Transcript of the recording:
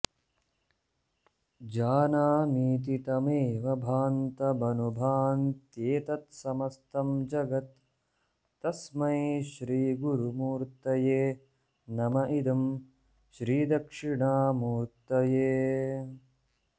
जानामीति तमेव भान्तमनुभान्त्येतत्समस्तं जगत् तस्मै श्रीगुरुमूर्तये नम इदं श्रीदक्षिणामूर्तये